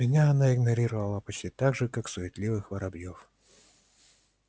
меня она игнорировала почти так же как суетливых воробьёв